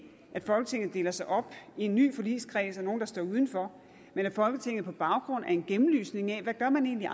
at folketinget deler sig op i en ny forligskreds og nogle der står uden for men at folketinget handler på baggrund af en gennemlysning af hvad man egentlig